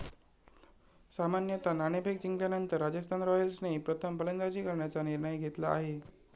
सामन्यात नाणेफेक जिंकल्यानंतर राजस्थान रॉयल्सने प्रथम फलंदाजी करण्याचा निर्णय घेतला आहे.